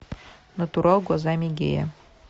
натурал глазами гея